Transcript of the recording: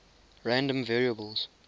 random variables